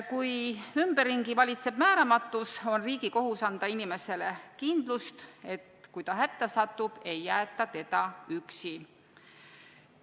Kui ümberringi valitseb määramatus, on riigi kohus anda inimesele kindlust, et kui ta hätta satub, ei jäeta teda üksi.